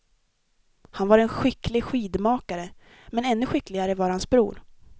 Han var en skicklig skidmakare, men ännu skickligare var hans bror.